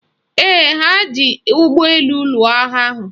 Ee, ha ga-eji ụgbọelu lụọ agha ahụ